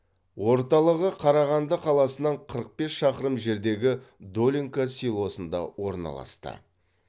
орталығы қарағанды қаласынан қырық бес шақырым жердегі долинка селосында орналасты